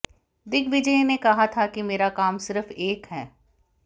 दिग्विजय ने कहा था कि मेरा काम सिर्फ एक है